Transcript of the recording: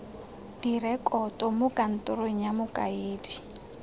direkoto mo kantorong ya mokaedi